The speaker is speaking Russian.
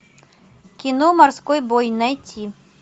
кино морской бой найти